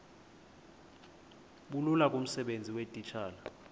bulula kumsebenzi weetitshala